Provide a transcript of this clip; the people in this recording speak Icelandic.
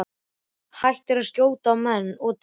Hættir að skjóta á menn og dýr.